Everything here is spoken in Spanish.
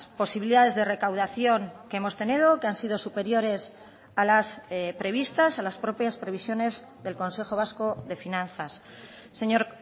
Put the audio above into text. posibilidades de recaudación que hemos tenido que han sido superiores a las previstas a las propias previsiones del consejo vasco de finanzas señor